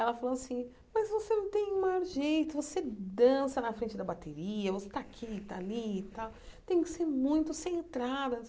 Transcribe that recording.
Ela falou assim, mas você não tem o maior jeito, você dança na frente da bateria, você tá aqui, tá ali e tal, tem que ser muito, centrada.